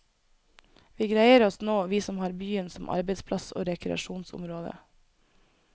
Vi greier oss nå, vi som har byen som arbeidsplass og rekreasjonsområde.